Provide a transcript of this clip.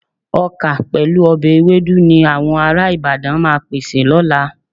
Ọkà pẹ̀lú ọbẹ̀ ewédú ni àwọn ará Ìbàdàn máa pèsè lọ́la.